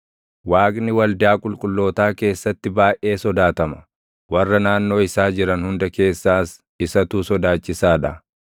Waaqni waldaa qulqullootaa keessatti baayʼee sodaatama; warra naannoo isaa jiran hunda keessaas isatu sodaachisaa dha.